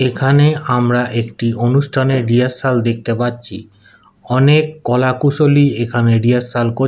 এখানে আমরা একটি অনুষ্ঠানে রিহার্সাল দেখতে পাচ্ছি অনেক কলা কুশলী এখানে রিহার্সাল কর--